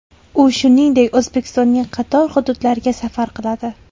U shuningdek O‘zbekistonning qator hududlariga safar qiladi.